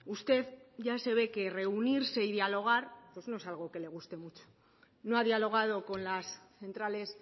usted ya se ve que reunirse y dialogar pues no es algo que le guste mucho no ha dialogado con las centrales